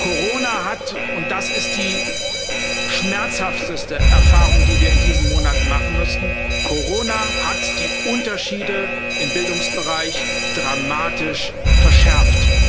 Corona hat, und das ist die schmerzhafteste Erfahrung, die wir in diesen Monaten machen mussten, Corona hat die Unterschiede im Bildungsbereich dramatisch verschärft.